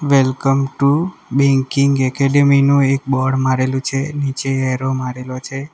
Welcome to banking academy નો એક board મારેલું છે નીચે એરો મારેલો છે.